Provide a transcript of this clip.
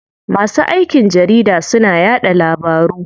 Masu aikin jarida suna yaɗa labaru.